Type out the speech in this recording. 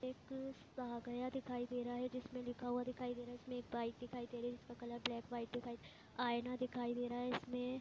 एक गया दिखाई दे रहा है जिसमें लिखा हुआ दिखाई दे रहा है इसमें एक बाइक दिखाई दे रही है जिसका कलर ब्लैक व्हाइट दिखाई दे आईना दिखाई दे रहा है इसमें।